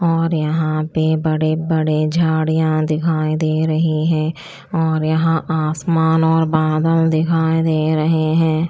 और यहां पे बड़े बड़े झाड़ियां दिखाई दे रही है और यहां आसमान और बादल दिखाई दे रहे है।